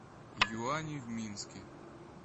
юани в минске